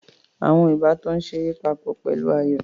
Àwọn ìbátan ń ṣeré papọ̀ pẹ̀lú ayò